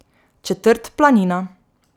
Četrt Planina.